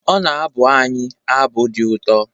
Ọ na-abụ anyị abụ dị ụtọ